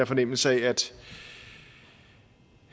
fornemmelse af